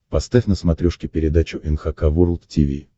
поставь на смотрешке передачу эн эйч кей волд ти ви